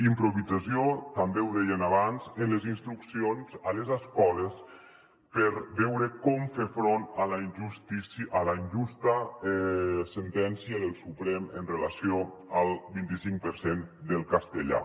improvisació també ho dèiem abans en les instruccions a les escoles per veure com fer front a la injusta sentència del suprem amb relació al vint i cinc per cent del castellà